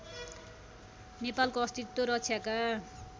नेपालको अस्तित्व रक्षाका